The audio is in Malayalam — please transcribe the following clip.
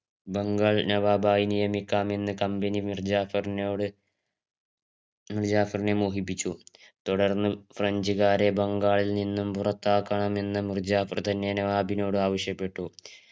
ബംഗാൾ നവാബായ് നിയമിക്കാം എന്ന് കമ്പനി മിർജാഫറിനോട് മിർജാഫരിനെ മോഹിപ്പിച്ചു തുടർന്ന് ഫ്രഞ്ചുകാരെ ബംഗാളിൽ നിന്നും പുറത്താക്കണമെന്ന് മൂർജാഫർ തന്നെയാണ് നവബിനോട് ആവശ്യപ്പെട്ടു